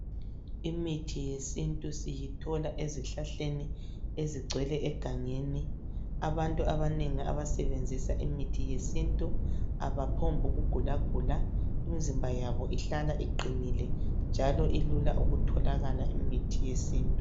Imithi yesintu siyithola ezihlahleni ezigcwele egangeni abantu abanengi abasebenzisa imithi yesintu abaphobhu kugulagula imzimba yabo ihlala iqinile njalo ilula ukutholakala imithi yesintu.